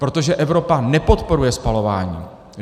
Protože Evropa nepodporuje spalování!